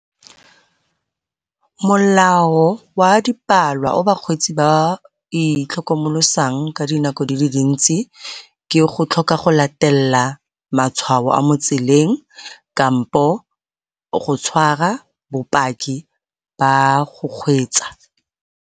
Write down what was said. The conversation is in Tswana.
Molao wa o bakgweetsi ba itlhokomolosang ka dinako di le dintsi ke go tlhoka go latelela matshwao a mo tseleng kampo go tshwara bopaki ba go kgweetsa.